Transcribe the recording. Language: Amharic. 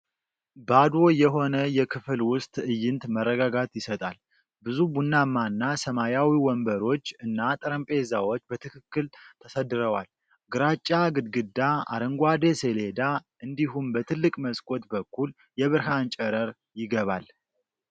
ባዶ የሆነ የክፍል ውስጥ ትዕይንት መረጋጋት ይሰጣል። ብዙ ቡናማና ሰማያዊ ወንበሮች እና ጠረጴዛዎች በትክክል ተሰድረዋል። ግራጫ ግድግዳ፣ አረንጓዴ ሰሌዳ እንዲሁም በትልቅ መስኮት በኩል የብርሃን ጨረር ይገባል።